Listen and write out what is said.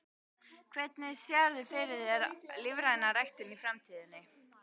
Hvernig sérðu fyrir þér lífræna ræktun í framtíðinni?